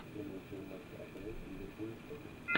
прямой эфир матча апл ливерпуль шеффилд